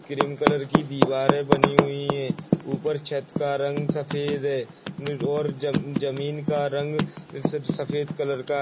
cream colour की दीवारें बनी हुई हैं ऊपर छत का रंग सफेद है और जम जमीन का रंग स सफेद कलर का --